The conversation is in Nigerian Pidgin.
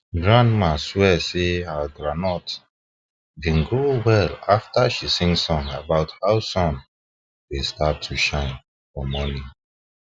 grandma swear sey her grondnut been grow well after she sing song about how sun dey start to shine for morning